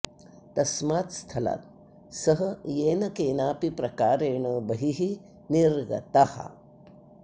तस्मात् स्थलात् सः येन केनापि प्रकारेण बहिः निर्गतः